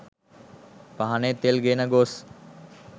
පහනේ තෙල් ගෙන ගොස්